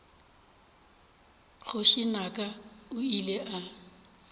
kgoši naka o ile a